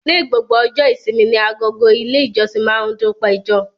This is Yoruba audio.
Ní gbogbo ọjọ́ ìṣími ní agọ̀gọ̀ ilẹ̀ ìjọ̀ṣìn ma ndunpẹ̀jọ.